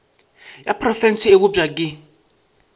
ya profense e bopša ke